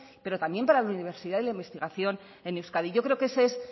pero también para la universidad y la investigación en euskadi yo creo que ese es